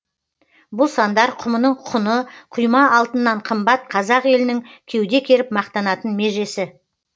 бұл сандар құмының құны құйма алтыннан қымбат қазақ елінің кеуде керіп мақтанатын межесі